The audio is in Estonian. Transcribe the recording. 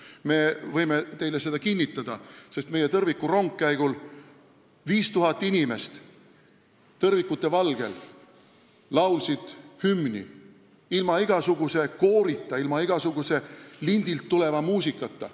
Me võime seda teile kinnitada, sest meie tõrvikurongkäigul laulsid 5000 inimest tõrvikute valgel hümni ilma igasuguse koorita, ilma igasuguse lindilt tuleva muusikata.